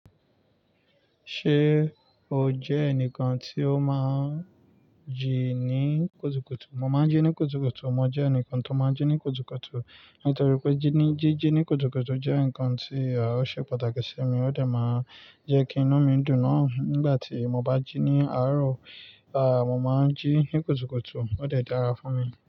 Ṣé o jẹ́ ẹnìkan tí ó máa ń jí ní kùtùkùtù? Mo máa ń jí ní kùtùkùtù. Mo jẹ́ ẹnìkan tó máa ń jí ní kùtùkùtù. Nítorí pé jí-jí ní kùtùkùtù jẹ́ ǹkan tí ó ṣe pàtàkì sí mi, ó dẹ̀ máa ń jẹ́ kí inú mi dùn. Nigbati mo bá jí ní àárọ̀, à, mo máa ń jí ní kùtùkùtù, ó dẹ̀ dára fún mi.